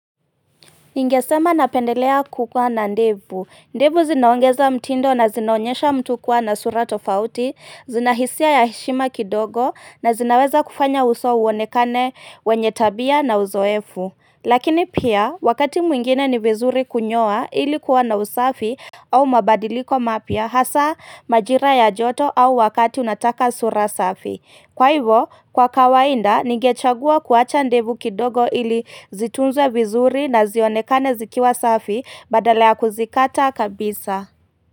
Ningesema napendelea kukua na ndevu, ndevu zinaongeza mtindo na zinaonyesha mtu kuwa na sura tofauti, zinahisia ya heshima kidogo na zinaweza kufanya uso uonekane wenye tabia na uzoefu Lakini pia, wakati mwingine ni vizuri kunyoa ili kuwa na usafi au mabadiliko mapya hasa majira ya joto au wakati unataka sura safi Kwa hivyo, kwa kawaida, ningechagua kuacha ndevu kidogo ili zitunzwe vizuri na zionekane zikiwa safi badala ya kuzikata kabisa.